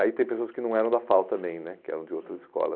Aí tem pessoas que não eram da FAU também né, que eram de outras escolas.